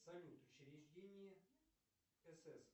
салют учреждение сс